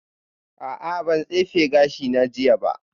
A'a ban tsefe gashina jiya ba